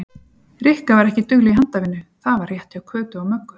Rikka var ekki dugleg í handavinnu, það var rétt hjá Kötu og Möggu.